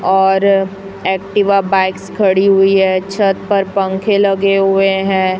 और Activa bikes खड़ी हुई है छत पर पंखे लगे हुए हैं।